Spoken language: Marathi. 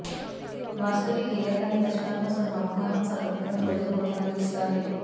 वास्तविक गेल्या काही दशकांपासून हवामानात सातत्याने बदल होताना दिसताहेत